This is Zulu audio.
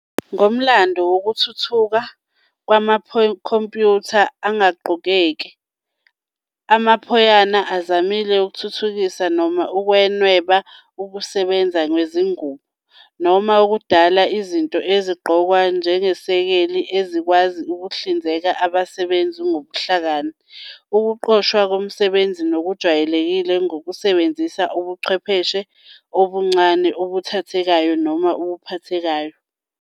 Ngomlando nokuthuthuka kwamakhompiyutha angagqokeki, amaphayona azamile ukuthuthukisa noma ukunweba ukusebenza kwezingubo, noma ukudala izinto ezigqokwa njengezesekeli ezikwazi ukuhlinzeka abasebenzisi ngobuhlakani - ukuqoshwa komsebenzi ngokujwayelekile ngokusebenzisa ubuchwepheshe obuncane obuthathekayo noma obuphathekayo.